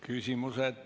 Küsimused.